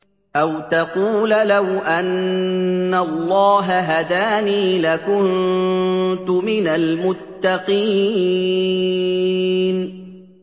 أَوْ تَقُولَ لَوْ أَنَّ اللَّهَ هَدَانِي لَكُنتُ مِنَ الْمُتَّقِينَ